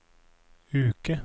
uke